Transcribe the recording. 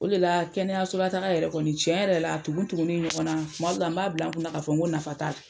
O de la kɛnɛyaso lataga yɛrɛ kɔni tiɲɛ yɛrɛ la tugun tuguni ɲɔgɔnna tuma dɔ la m'a bila n kunna k'a fɔ ko nafa ta la.